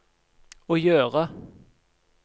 å gjøre